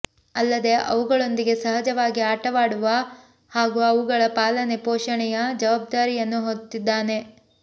ಅಲ್ಲದೇ ಅವುಗಳೊಂದಿಗೆ ಸಹಜವಾಗಿ ಆಟವಾಡುವ ಹಾಗೂ ಅವುಗಳ ಪಾಲನೆ ಪೋಷಣೆಯ ಜವಾಬ್ಧಾರಿಯನ್ನು ಹೊತ್ತಿದ್ದಾನೆ